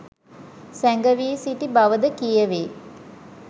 සැඟවී සිටි බවද කියවේ.